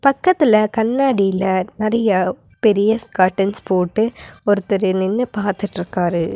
பக்கத்துல கண்ணாடில நெறையா பெரிய ஸ்காட்டன்ஸ் போட்டு ஒருத்தரு நின்னு பாத்துட்ருக்காரு.